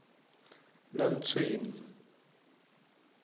namtshweni